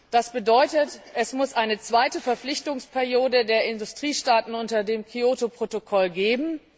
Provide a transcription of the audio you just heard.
Das bedeutet, es muss eine zweite Verpflichtungsperiode der Industriestaaten unter dem Kyoto Protokoll geben.